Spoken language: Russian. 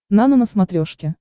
нано на смотрешке